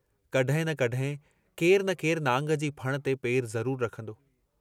कहिं न कहिं, केरु न केरु नांग जी फण ते पेरु ज़रूर रखंदो।